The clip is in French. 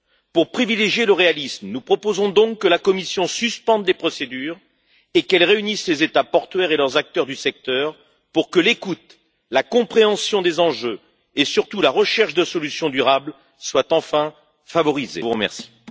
Pour privilégier le réalisme, nous proposons donc que la Commission suspende ses procédures et qu'elle réunisse les États portuaires et leurs acteurs du secteur, pour que l'écoute, la compréhension des enjeux et surtout la recherche de solutions durables soient enfin au premier plan.